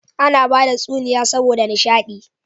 Ana bada tsuniya saboda nisha di